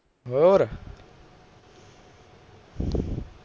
ਹੋਰ